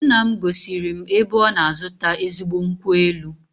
Nna m gosiri m ebe ọ na-azụta ezigbo nkwụ elu